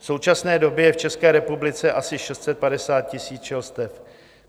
V současné době je v České republice asi 650 000 včelstev.